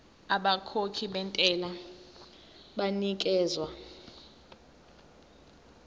abakhokhi bentela banikezwa